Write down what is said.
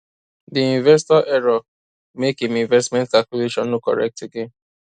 di investor error make im investment calculation no correct again